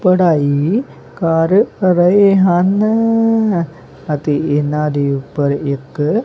ਪੜਾਈ ਕਰ ਰਹੇ ਹਨ ਅਤੇ ਇਹਨਾਂ ਦੇ ਉੱਪਰ ਇੱਕ--